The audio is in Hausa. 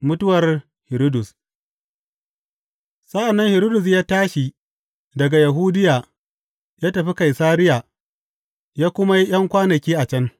Mutuwar Hiridus Sa’an nan Hiridus ya tashi daga Yahudiya ya tafi Kaisariya ya kuma yi ’yan kwanaki a can.